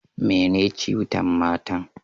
Me ne ciutan matan?